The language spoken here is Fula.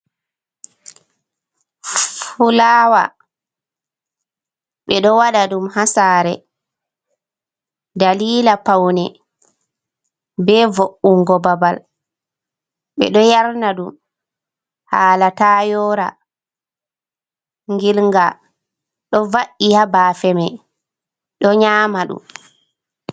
Fulawa: Ɓe ɗo wada ɗum ha sare dalila paune be vo’ugo babal ɓe ɗo yarna ɗum hala ta yora gilga ɗo va’i habafe me ɗo nyama ɗum.